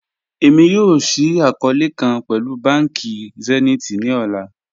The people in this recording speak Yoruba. Ẹ̀mi yọọ̀ ṣíì akọọ̀lẹ̀ kan pẹ̀lú bánkì Zenith ni ọlá